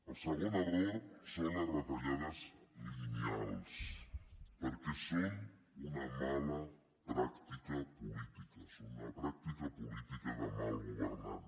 el segon error són les retallades lineals perquè són una mala pràctica política són una pràctica política de mal governant